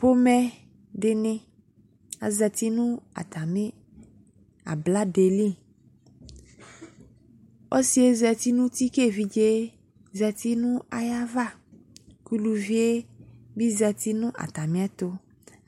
Pomɛ de ne azati no atame abladɛ li Ɔsiɛ zati no uti ko evidze zati no ayava, ko uluvie be zat no atme ɛto